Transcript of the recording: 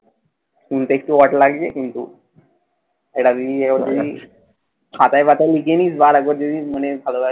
শুনতে একটু odd লাগবে কিন্তু এটা যদি একবার বলিস খাতায় পাতায় লিখে নিস বা আরেকবার যদি মনে ভাল লাগে